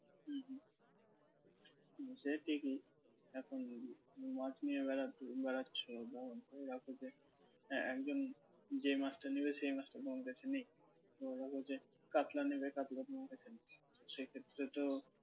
সে ঠিকই এখন মাছ নিয়ে বেড়া~ বেড়াচ্ছ হ্যাঁ একজন যে মাছটা নেবে সেই মাছটা তোমার কাছে নেই মনে করো যে কাতলা নেবে কাতলা তোমার কাছে নেই সে ক্ষেত্রে তো